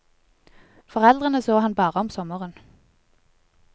Foreldrene så han bare om sommeren.